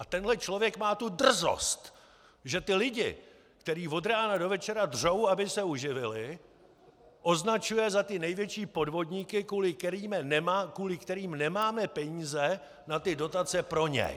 A tenhle člověk má tu drzost , že ty lidi, kteří od rána do večera dřou, aby se uživili, označuje za ty největší podvodníky, kvůli kterým nemáme peníze na ty dotace pro něj.